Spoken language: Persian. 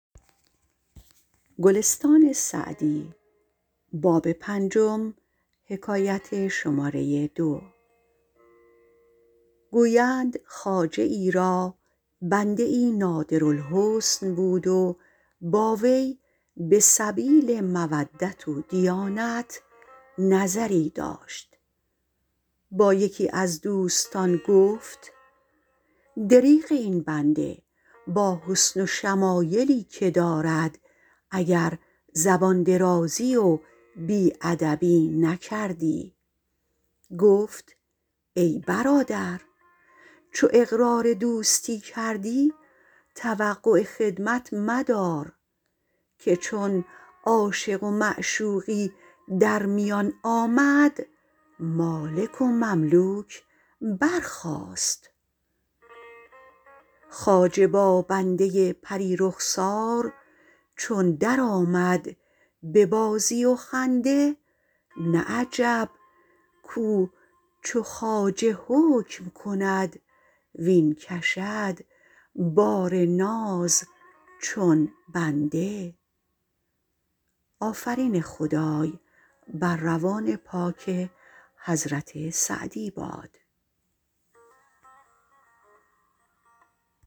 گویند خواجه ای را بنده ای نادر الحسن بود و با وی به سبیل مودت و دیانت نظری داشت با یکی از دوستان گفت دریغ این بنده با حسن و شمایلی که دارد اگر زبان درازی و بی ادبی نکردی گفت ای برادر چو اقرار دوستی کردی توقع خدمت مدار که چون عاشق و معشوقی در میان آمد مالک و مملوک برخاست خواجه با بنده پری رخسار چون در آمد به بازی و خنده نه عجب کاو چو خواجه حکم کند واین کشد بار ناز چون بنده